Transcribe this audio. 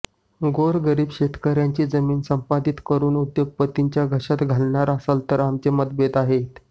गोरगरीब शेतकऱयांची जमीन संपादित करून उद्योगपतींच्या घशात घालणार असाल तर आमचे मतभेद आहेत